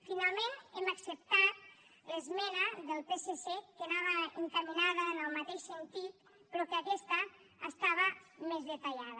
finalment hem acceptat l’esmena del psc que anava encaminada en el mateix sentit però que aquesta estava més detallada